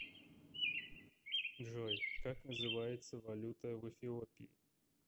джой как называется валюта в эфиопии